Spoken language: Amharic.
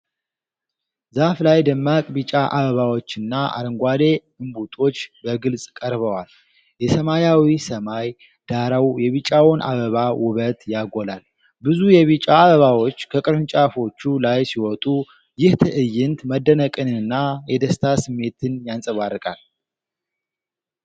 ዛፍ ላይ ደማቅ ቢጫ አበባዎችና አረንጓዴ እምቡጦች በግልጽ ቀርበዋል። የሰማያዊ ሰማይ ዳራው የቢጫውን አበባ ውበት ያጎላል። ብዙ የቢጫ አበባዎች ከቅርንጫፎቹ ላይ ሲወጡ፣ ይህ ትዕይንት መደነቅንና የደስታ ስሜትን ያንጸባርቃል።